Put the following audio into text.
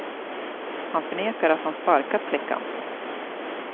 Han förnekar att han sparkat flickan.